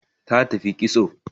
Ta tafi kitso